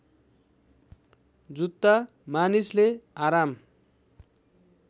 जुत्ता मानिसले आराम